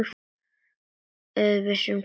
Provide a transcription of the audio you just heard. Þeir vissu hvað þeir sungu.